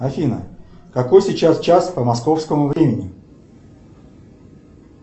афина какой сейчас час по московскому времени